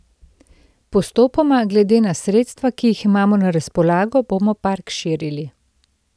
Postopoma, glede na sredstva, ki jih imamo na razpolago, bomo park širili.